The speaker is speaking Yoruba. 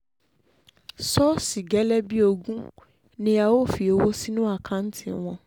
ṣọ́ọ̀ṣì gélé bíi ogún ni a ó fi owó sínú àkáǹtì wọn